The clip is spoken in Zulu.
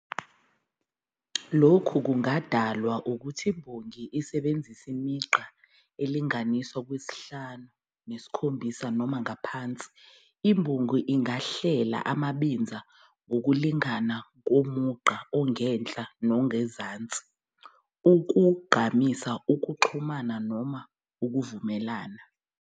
Lokhu kungadalwa ukuthi imbongi isebenzise imigqa elinganiselwa kwelishumi nesikhombisa noma ngaphansi. Imbongi ingahlela amabinza ngokulingana komugqa ongenhla nongezansi ukugqamisa ukuxhumana noma ukuvumelana.